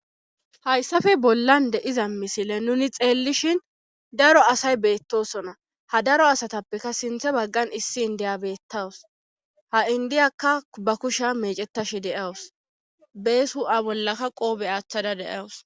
hayssafe bollan de7iza misile nuni xeellishin daro asay beettosona ha daro asatappeka sinthe baggan issi indiya beettawus ha indiyakka ba kusha meecettash deawus beeshu7a bollaka qoobe aaththada deyawus